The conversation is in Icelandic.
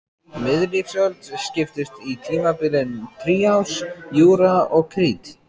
Miðlífsöld skiptist í tímabilin trías, júra og krít.